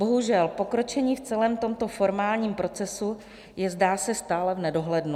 Bohužel, pokročení v celém tomto formálním procesu je, zdá se, stále v nedohlednu.